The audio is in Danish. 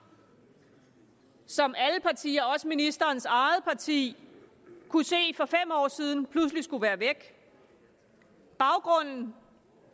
som alle partier også ministerens eget parti kunne se for fem år siden pludselig skulle være væk baggrunden